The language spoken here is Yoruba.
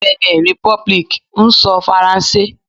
Benin Republic ń sọ Faransé.